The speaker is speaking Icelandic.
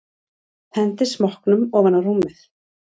Hendir smokknum ofan á rúmið.